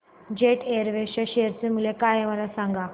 jet Airways च्या share चे मूल्य काय आहे मला सांगा